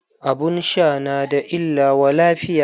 Abun sha na da illa wa lafiya.